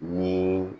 Ni